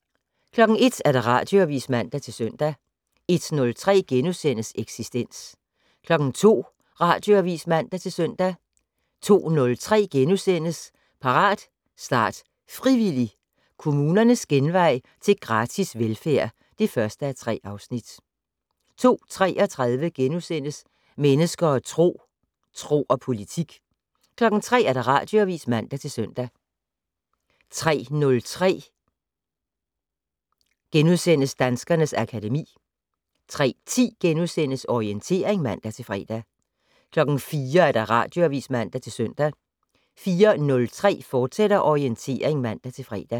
01:00: Radioavis (man-søn) 01:03: Eksistens * 02:00: Radioavis (man-søn) 02:03: Parat, start, frivillig! - Kommunernes genvej til gratis velfærd (1:3)* 02:33: Mennesker og Tro: Tro og politik * 03:00: Radioavis (man-søn) 03:03: Danskernes akademi * 03:10: Orientering *(man-fre) 04:00: Radioavis (man-søn) 04:03: Orientering, fortsat (man-fre)